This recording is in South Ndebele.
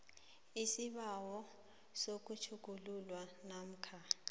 isibawo sokutjhugululwa namkha